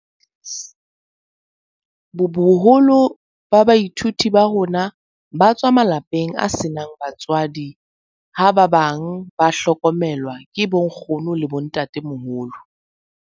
Boholo ba baithuti ba rona ba tswa malapeng a senang batswadi ha ba bang ba hlokomelwa ke bonkgono le bontatemoholo.